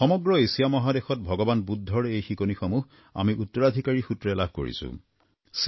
সমগ্ৰ এছিয়া মহাদেশত ভগবান বুদ্ধৰ এই শিকনিসমূহ আমি উত্তৰাধিকাৰীসূত্ৰে লাভ কৰিছোঁ